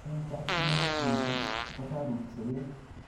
eng chakchinet missing kotorusgei